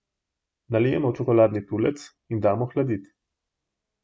Nalijemo v čokoladni tulec in damo hladit.